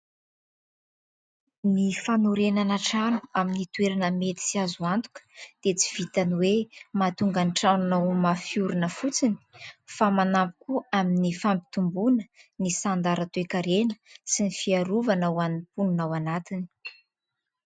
Ny fanorenana trano amin'ny toerana mety sy azo antoka dia tsy vitan'ny hoe mahatonga ny tranonao ho mafy orina fotsiny fa manampy koa amin'ny fampitomboana ny sanda ara toe-karena sy ny fiarovana ho an'ny mponina ao anatiny.